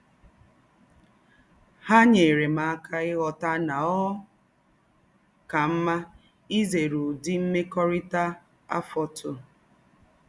Há nyèrè m áká íghọ́tà nà ọ́ kà mmá ízèré ứdị̀ mmékọ́rítà àfọ́tụ̀.